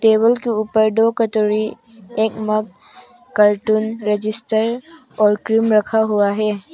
Table के ऊपर में दो कटोरी एक मग कार्टून रजिस्टर और क्रीम रखा हुआ है।